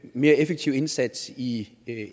mere effektiv indsats i